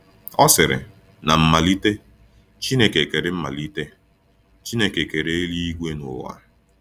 Ọ sịrị: “Na mmalite, Chineke kere mmalite, Chineke kere eluigwe na ụwa.”